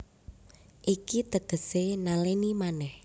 Iki tegesé nalèni manèh